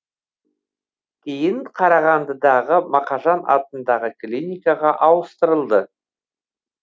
кейін қарағандыдағы мақажан атындағы клиникаға ауыстырылды